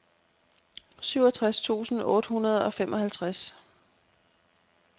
syvogtres tusind otte hundrede og femoghalvtreds